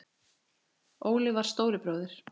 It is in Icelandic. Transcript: Óli var stóri bróðir.